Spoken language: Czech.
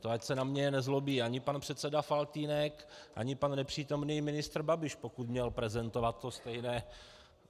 To ať se na mě nezlobí ani pan předseda Faltýnek, ani pan nepřítomný ministr Babiš, pokud měl prezentovat to stejné.